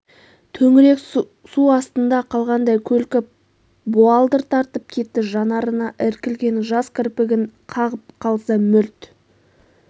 төңірек су астында қалғандай көлкіп буалдыр тартып кетті жанарына іркілген жас кірпігін қағып қалса мөлт